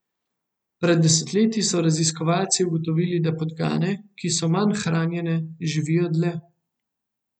Pred desetletji so raziskovalci ugotovili, da podgane, ki so manj hranjene, živijo dlje.